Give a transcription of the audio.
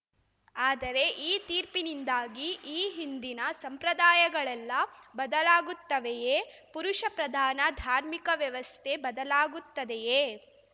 ಆದರೆ ಈ ತೀರ್ಪಿನಿಂದಾಗಿ ಈ ಹಿಂದಿನ ಸಂಪ್ರದಾಯಗಳೆಲ್ಲ ಬದಲಾಗುತ್ತವೆಯೇ ಪುರುಷಪ್ರಧಾನ ಧಾರ್ಮಿಕ ವ್ಯವಸ್ಥೆ ಬದಲಾಗುತ್ತದೆಯೇ